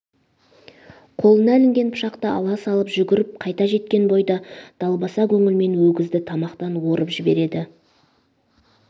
қолына ілінген пышақты ала салып жүгіріп қайта жеткен бойда далбаса көңілімен өгізді тамақтан орып жібереді